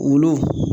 Wulu